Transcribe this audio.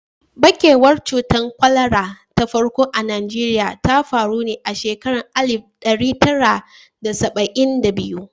Ɓarkewar cutar kwalara ta farko a Najeriya ta faru ne a shekarar alif ɗari tara da saba'in da biyu.